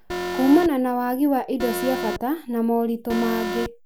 kũmana na wagi wa indo cia bata na moritũ mangĩ,